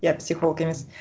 иә психолог емес